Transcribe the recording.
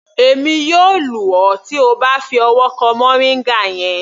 Èmi yóò lù ọ tí O bá fi ọwọ́ kan moringa yẹn.